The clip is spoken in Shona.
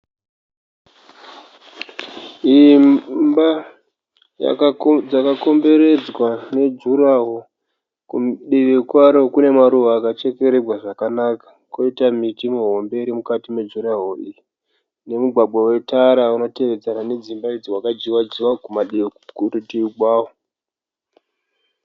Imba yakakomberedzwa nejuraworo . Kudivi kwaro kune maruva akachekererwa zvakanaka kwoita miti mihombe iri mukati mejuraworo iri, nemugwagwa wetara unotevedzera nedzimba idzi, wakadyiwa dyiwa kurutivi kwawo.